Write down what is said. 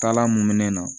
Taalan mun me ne na